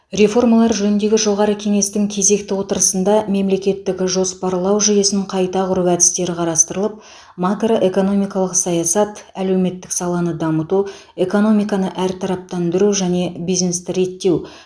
реформалар жөніндегі жоғары кеңестің кезекті отырысында мемлекеттік жоспарлау жүйесін қайта құру әдістері қарастырылып макроэкономикалық саясат әлеуметтік саланы дамыту экономиканы әртараптандыру және бизнесті реттеу